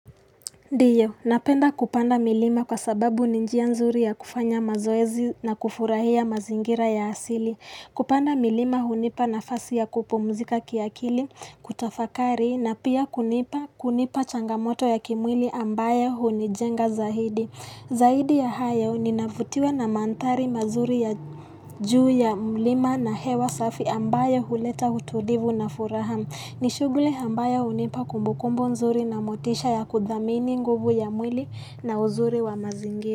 Ndiyo, napenda kupanda milima kwa sababu ni njia nzuri ya kufanya mazoezi na kufurahia mazingira ya asili. Kupanda milima hunipa nafasi ya kupumzika kiakili, kutafakari, na pia kunipa changamoto ya kimwili ambayo hunijenga zaidi. Zaidi ya hayo, ninavutiwa na mandhari mazuri ya juu ya mlima na hewa safi ambayo huleta utulivu na furaha. Ni shughuli ambayo hunipa kumbukumbu nzuri na motisha ya kuthamini nguvu ya mwili na uzuri wa mazingi.